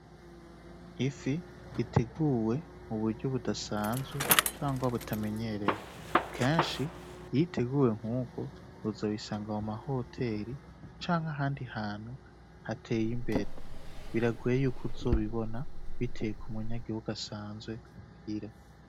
Ifi iteguwe mu buryo budasanzwe canke butamenyerewe. Kenshi iyo iteguwe nk'uko uzobisanga mu mahoteri canke ahandi hantu hateye imbere; biragoye yuko uzobibona biteye ku munyagihugu asanzwe muhira.